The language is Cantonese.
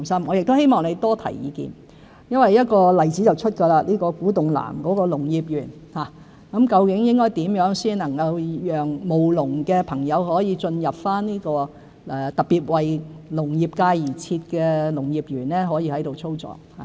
我亦希望何議員多提意見，例如就在古洞南的農業園，應該怎樣讓務農的朋友進入這個特別為農業界而設的農業園，並在該處操作。